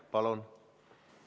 Palun!